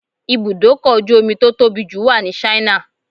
Ibùdókọ̀ ojú omi tó tóbi jù wà ní Ṣáínà